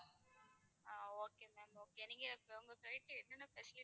ஆஹ் okay ma'am okay நீங்க உங்க side ல என்னென்ன facilities